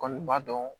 Kɔni b'a dɔn